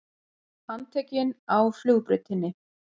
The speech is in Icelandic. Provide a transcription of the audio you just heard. Handtekinn á flugbrautinni